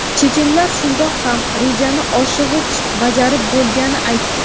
chechenlar shundoq ham "rejani oshig‘ich bajarib bo‘lgani"ni aytdi.